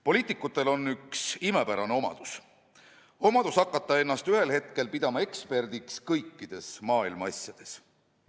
Poliitikutel on üks imepärane omadus: omadus hakata ennast ühel hetkel pidama eksperdiks kõikides maailmaasjades.